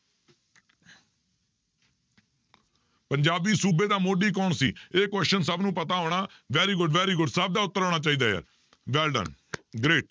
ਪੰਜਾਬੀ ਸੂਬੇ ਦਾ ਮੋਢੀ ਕੌਣ ਸੀ ਇਹ question ਸਭ ਨੂੰ ਪਤਾ ਹੋਣਾ very good, very good ਸਭ ਦਾ ਉੱਤਰ ਆਉਣਾ ਚਾਹੀਦਾ ਹੈ well done great